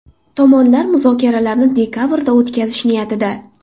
Tomonlar muzokaralarni dekabrda o‘tkazish niyatida.